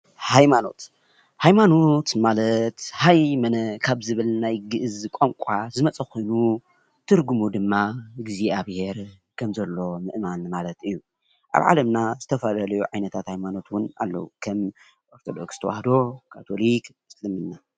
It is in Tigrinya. ሃይማኖት፡- ሃይማኖት ማለት "ሃይመነ" ካብ ዝብል ናይ ግእዝ ቋንቋ ዝመፀ ኾይኑ ትርጉሙ ድማ እግዚኣብሔር ከምዘሎ ምእማን ማለት እዩ፡፡ ኣብ ዓለምና ዝተፈላለዩ ዓይነታት ሃይማኖት እውን ኣለው፡፡ ከም ኦርቶዶክስ ተዋህዶ ፣ካቶሊክ፣ እስልምና